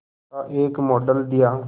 का एक मॉडल दिया